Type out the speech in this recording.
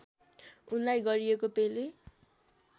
उनलाई गरिएको पेले